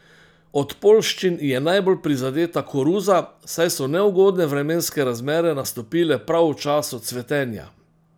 Od poljščin je najbolj prizadeta koruza, saj so neugodne vremenske razmere nastopile prav v času cvetenja.